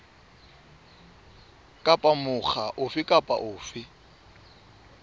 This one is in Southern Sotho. kapa mokga ofe kapa ofe